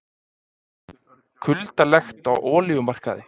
Kuldalegt á olíumarkaði